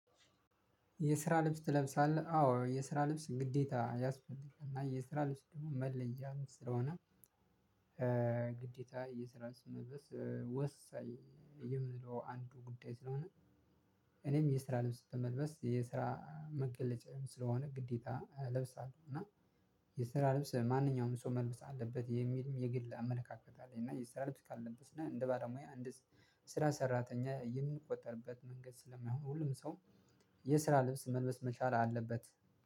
የስራ ልብስ ትለብሳለህ አዎ የስራ ልብስ ግዴታ ያስፈልጋል እና የስራ ልብስ ደግሞ መለያ ስለሆነ። ግዴታ የስራ ስመለስ ወሳኝ የምለው አንዱ ጉዳይ ስለሆነ። እኔም የስራ ልብስ በመልበስ የስራ መገለጫም ስለሆነ ግዴታ እለብሳለሁ እና የስራ ልብስ ማንኛውም ሰው መልበስ አለበት የሚልም የግል አመለካከት አለኝ። እና የስራ ልብስ ካለበስን እና እንደ ባዶ ሙያ አንድ ስራ ሰራተኛ የምንቆጠርበት መንገድ ስለማይሆን። ሁሉም ሰው የስራ ልብስ መልበስ መቻል አለበት